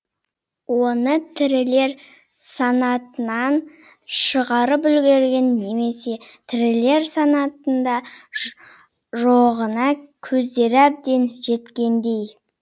оны тірілер санатынан шығарып үлгерген немесе тірілер санатында жоғына көздері әбден жеткендей